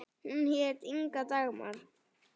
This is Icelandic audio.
Hún hét Inga Dagmar.